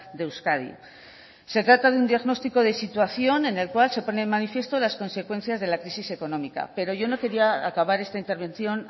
de euskadi se trata de un diagnóstico de situación en el cual se pone de manifiesto las consecuencias de la crisis económica pero yo no quería acabar esta intervención